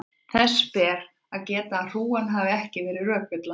þess ber að geta að hrúgan þarf ekki að vera rökvilla